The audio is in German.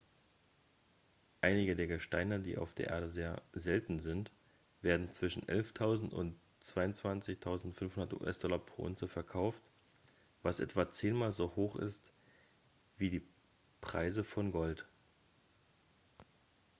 einige der gesteine die auf der erde sehr selten sind werden zwischen 11.000 und 22.500 us-dollar pro unze verkauft was etwa zehnmal so hoch ist wie die preis von gold